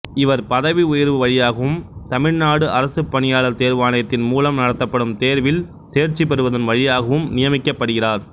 இவர் பதவி உயர்வு வழியாகவும் தமிழ்நாடு அரசுப் பணியாளர் தேர்வாணையத்தின் மூலம் நடத்தப்படும் தேர்வில் தேர்ச்சி பெறுவதின் வழியாகவும் நியமிக்கப்படுகிறார்